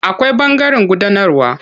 Akwai ɓangaren gudanarwa.